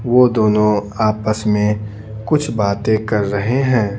वो दोनों आपस में कुछ बातें कर रहे हैं।